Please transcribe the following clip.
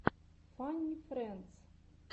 фанни френдс